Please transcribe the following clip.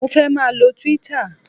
Mo fẹ́ máà lo Twitter